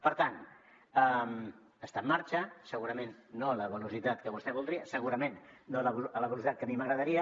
per tant està en marxa segurament no a la velocitat que vostè voldria segurament no a la velocitat que a mi m’agradaria